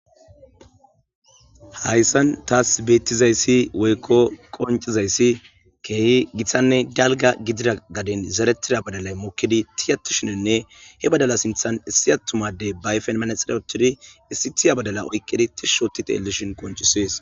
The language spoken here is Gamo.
Hayssan taas beettizayssi woykko qoncizayssi keehi giththanne dalga gidida gadin zeretida badalay mokkidi tiyatu shinenne he badala sinthan issi attumadey bayfen manaxer ochthidi issi tiya badala oykkidi tishshoti telelishin qoncisees